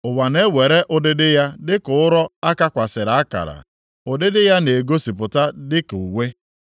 Ụwa na-ewere ụdịdị ya dịka ụrọ a kakwasịrị akara; ụdịdị ya na-egosipụta dịka uwe.